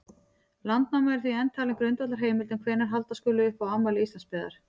Landnáma er því enn talin grundvallarheimild um hvenær halda skuli upp á afmæli Íslandsbyggðar.